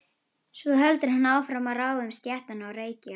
Svo heldur hann áfram að ráfa um stéttina og reykja.